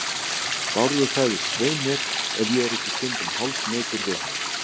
Bárður sagt, svei mér, ef ég er ekki stundum hálfsmeykur við hana.